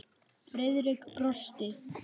Friðrik brosti.